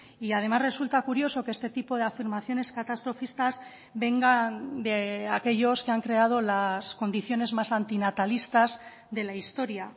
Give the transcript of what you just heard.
y además resulta curioso que este tipo de afirmaciones catastrofistas vengan de aquellos que han creado las condiciones más antinatalistas de la historia